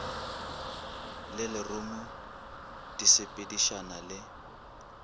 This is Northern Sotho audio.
le lerumu di sepedišana le